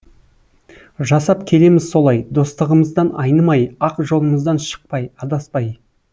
жасап келеміз солай достығымыздан айнымай ақ жолымыздан шықпай адаспай